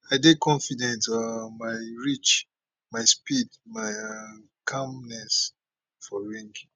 i dey confident um my reach my speed my um calmness for ring